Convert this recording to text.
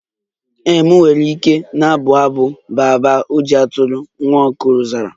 Ee, m nwere ike na-abụ abụ baa baa ojii atụrụ, nwa okoro zara.